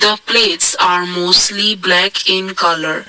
the plates are mostly black in colour.